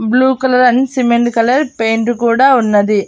Blue colour and cement colour paint కూడా ఉన్నది.